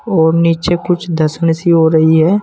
और नीचे कुछ धसने सी हो रही है।